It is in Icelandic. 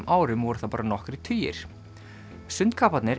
árum voru það bara nokkrir tugir